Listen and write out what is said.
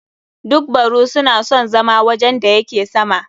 Duk baru su na son wajen da yake sama.